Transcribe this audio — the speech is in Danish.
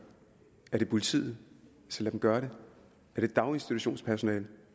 er det politiet så lad dem gøre det er det daginstitutionspersonale